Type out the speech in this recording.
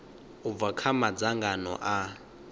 u bva kha madzangano a